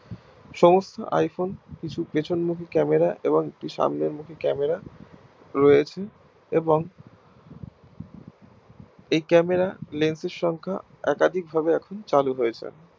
সমস্ত iPhone কিছু পিছন মুখী Camera এবং একটি সামনে মুখী Camera রয়েছে এবং এই Camera lens এর সংখ্যা একাধিক ভাবে চালু হয়েছে